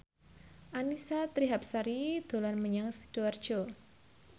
Annisa Trihapsari dolan menyang Sidoarjo